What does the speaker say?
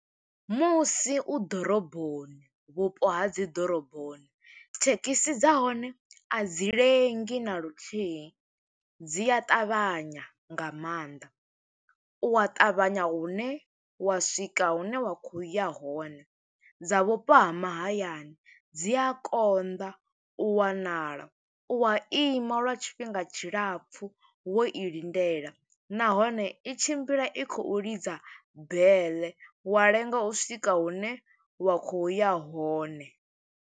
Musi u ḓoroboni, vhupo ha dzi ḓoroboni, thekhisi dza hone a dzi lengi na luthihi. Dzi a ṱavhanya nga maanḓa, u wa ṱavhanya hune wa swika hune wa khou ya hone. Dza vhupo ha mahayani, dzi a konḓa u wanala, u wa ima lwa tshifhinga tshilapfu, wo i lindela. Nahone i tshimbila i khou lidza bele, wa lenga u swika hune wa khou ya hone.